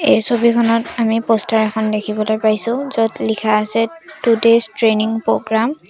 এই ছবিখনত আমি প'ষ্টাৰ এখন দেখিবলৈ পাইছোঁ য'ত লিখা আছে টু ডেইছ্ ট্ৰেইনিং প্ৰ'গ্ৰাম ।